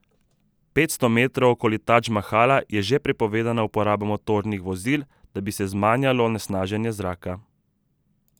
Petsto metrov okoli Tadž Mahala je že prepovedana uporaba motornih vozil, da bi se zmanjalo onesnaženje zraka.